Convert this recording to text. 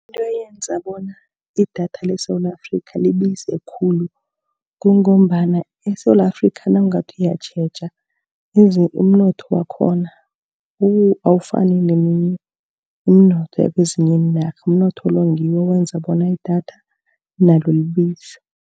Into eyenza bona idatha leSewula Afrika libize khulu, kungombana eSewula Afrika, nawungathi uyatjheja, pheze umnotho wakhona, awafani neminye umnotho ekwezinye iinarha. Umnotho lo ngiwo owenza bona idatha nalo libize.